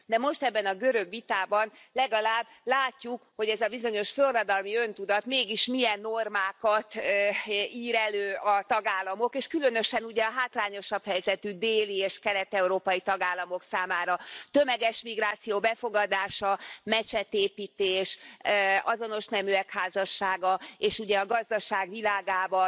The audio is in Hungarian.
De most ebben a görög vitában legalább látjuk, hogy ez a bizonyos forradalmi öntudat mégis milyen normákat ír elő a tagállamok, és különösen, ugye, a hátrányosabb helyzetű déli és kelet európai tagállamok számára tömeges migráció befogadása, mecsetépítés, azonos neműek házassága, és, ugye, a gazdaság világában